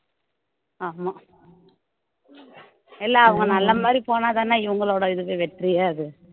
ஆமா இல்ல அவங்க நல்ல மாதிரி போனா தான இவங்களோட இதுக்கு வெற்றியே அது